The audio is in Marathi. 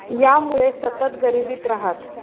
यांमुळे ते सतत गरिबीत राहत.